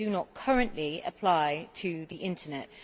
They do not currently apply to the Internet.